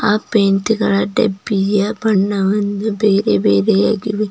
ಆ ಪೈಂಟ್ ಗಳ ಡಬ್ಬಿಯ ಬಣ್ಣವನ್ನು ಬೇರೆ ಬೇರೆಯಾಗಿವೆ.